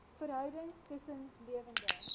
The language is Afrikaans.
verhouding tussen lewende